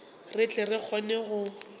re tle re kgone go